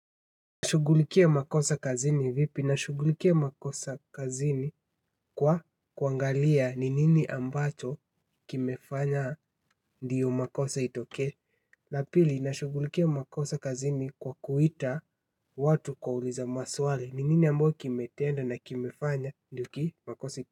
Shughulikia makosa kazini vipi. Nashughulikia makosa kazini kwa kuangalia ni nini ambacho kimefanya ndio makosa itokee. La pili, nashughulikia makosa kazini kwa kuita watu kuwauliza maswali. Ni nini ambayo kimetenda na kimefanya ndiyo hiki makosa.